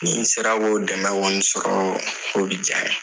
Ni n sera k'o dɛmɛ kɔni sɔrɔ o bɛ diya n ye